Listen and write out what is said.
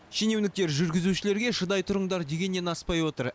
шенеуніктер жүргізушілерге шыдай тұрыңдар дегеннен аспай отыр